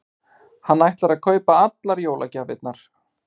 Hann ætlar að kaupa allar jólagjafirnar.